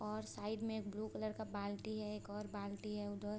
और साइड में एक ब्लू कलर का बाल्टी है एक और बाल्टी है उधर ।